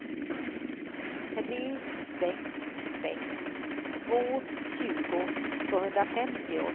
tre sex sex två tjugo tvåhundrafemtio